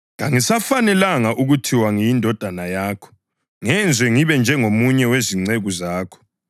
Kangisafanelanga ukuthiwa ngiyindodana yakho; ngenza ngibe njengomunye wezinceku zakho.’